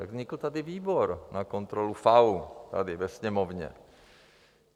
Tak vznikl tady výbor na kontrolu FAÚ, tady ve Sněmovně.